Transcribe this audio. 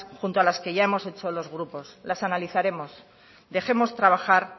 junto a las que ya hemos hechos los grupo las analizaremos dejemos trabajar